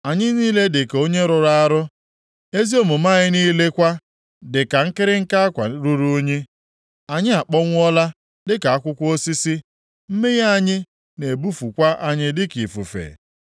Anyị niile dịka onye rụrụ arụ, ezi omume anyị niile kwa dịka nkịrịnka akwa ruru unyi. Anyị akpọnwụọla dịka akwụkwọ osisi, mmehie anyị na-ebufukwa anyị dịka ifufe.